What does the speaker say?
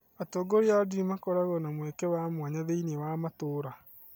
Atongoria a ndini makoragwo na mweke wa mwanya thĩinĩ wa matũũra.